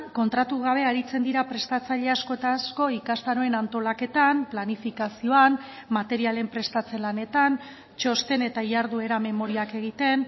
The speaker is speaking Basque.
kontratu gabe aritzen dira prestatzaile asko eta asko ikastaroen antolaketan planifikazioan materialen prestatze lanetan txosten eta jarduera memoriak egiten